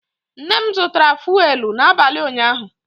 Nne m zụtara fụ́élú n'abalị ụnyaahụ